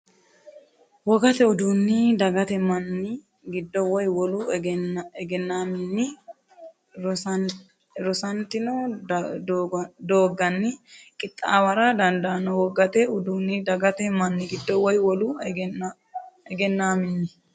Wogate uduunni dagate manni giddo woy wolu egennaamminni rosantino dooganni qixxaawara dandaanno Wogate uduunni dagate manni giddo woy wolu egennaamminni.